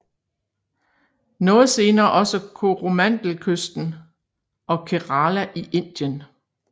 Noget senere også Koromandelkysten og Kerala i Indien